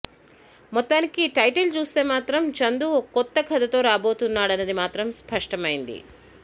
మొత్తానికి టైటిల్ చూస్తే మాత్రం చందూ ఓ కొత్త కథతో రాబోతున్నాడన్నది మాత్రం స్పష్టమైంది